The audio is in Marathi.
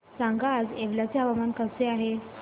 सांगा आज येवला चे हवामान कसे आहे